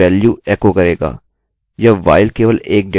यह while केवल 1 data मान देगा